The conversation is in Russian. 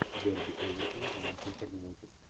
дерби эвертона и манчестер юнайтед